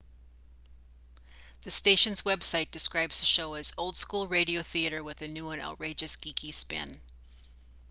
the station's web site describes the show as old school radio theater with a new and outrageous geeky spin